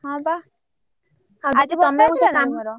ହଁ ବା ଆଜି ବର୍ଷା ହେଇଥିଲା ନା ତମର?